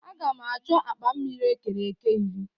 Agam achọ akpa mmiri e kere eke iri.